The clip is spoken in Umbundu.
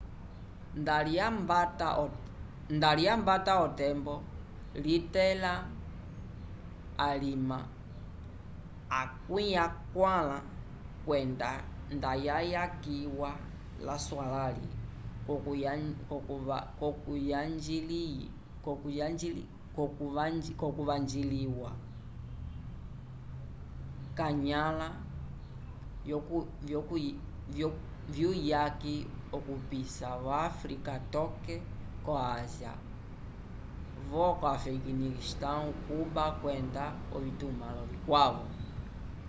nda lyambata otembo litẽla alima 40 kwenda ndayayakiwa laswalãli l'okuvanjiliwa k'anyãla vyuyaki okupisa vo áfrica toke ko ásia vo afeganistão cuba kwenda ovitumãlo vikwavo